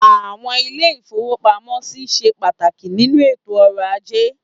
Àwọn ilé-ìfowópamọ́sí ṣe pàtàkì nínú ètò ọrọ̀ ajé.